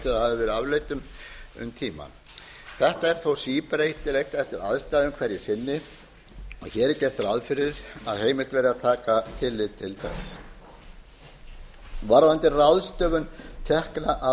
verið afleitt um tíma þetta er þó síbreytilegt eftir aðstæðum hverju sinni hér er gert ráð fyrir að heimilt verði að taka tillit til þess varðandi ráðgjöf tekna af